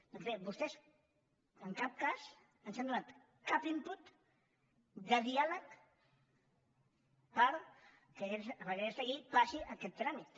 doncs bé vostès en cap cas ens han donat cap input de diàleg perquè aquesta llei passi aquest tràmit